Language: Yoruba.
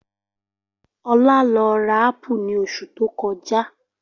Ola lọ ra ápù ní osù tókojá.